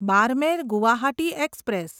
Barmer Guwahati express